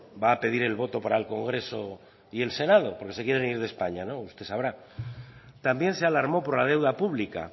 va a pedir el voto para el congreso y para el senado porque se quiere ir de españa usted sabrá también se alarmó por la deuda pública